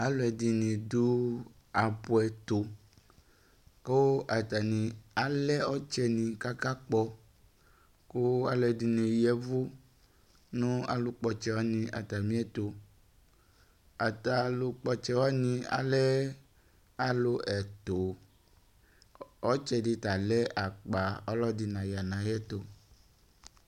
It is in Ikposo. alʋɛdini dʋ apʋ ɛtʋ kʋ atani alɛ ɔtsɛni kʋ aka kpɔ kʋ alʋɛdini yɛvʋ nʋ alʋ kpɔtsɛ atamiɛtʋ, ata alʋkpɔ ɔtsɛ wani alɛ alʋ ɛtʋ ɔtsɛ di ta lɛ akpa ɔdi naya nʋ ayɛtʋ